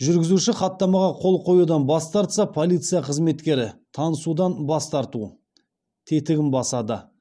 жүргізуші хаттамаға қол қоюдан бас тартса полиция қызметкері танысудан бас тарту тетігін басады